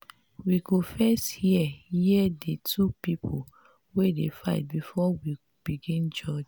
we go first hear hear di two people wey dey fight before we begin judge.